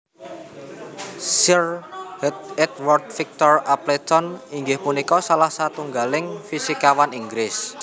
Sir Edward Victor Appleton inggih punika salah satunggaling fisikawan Inggris